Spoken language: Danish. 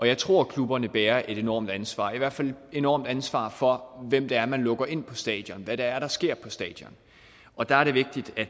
jeg tror at klubberne bærer et enormt ansvar i hvert fald et enormt ansvar for hvem det er man lukker ind på stadion hvad det er der sker på stadion og der er det vigtigt at